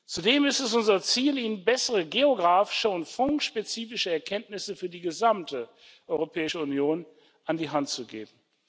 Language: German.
Zudem ist es unser Ziel, Ihnen bessere geografische und fondsspezifische Erkenntnisse für die gesamte Europäische Union an die Hand zu geben.